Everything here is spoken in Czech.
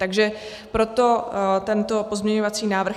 Takže proto tento pozměňovací návrh.